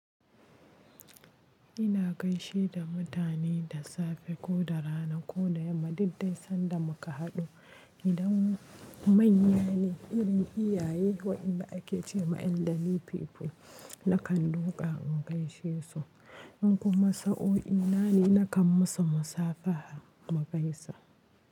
Ina gaishe da mutane da safe ko da rana ko da yamma, duk dai sanda muka haɗu. Idan manya ne, irin iyaye waɗanda ake ce ma eldari people, nakan duka in gaishe su. In kuma sa'o'i na ne, nakan musu musafaha mu gaisa.